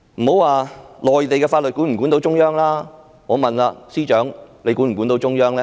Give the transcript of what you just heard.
莫說內地法律能否管得到中央，我想問司長管得到中央嗎？